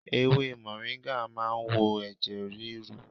Ewé mọ̀ríngà ma ń wo ẹ̀jẹ̀ ríru.